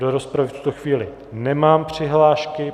Do rozpravy v tuto chvíli nemám přihlášky.